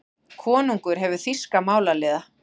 Konungur hefur þýska málaliða.